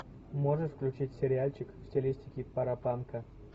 можешь включить сериальчик в стилистике парапанка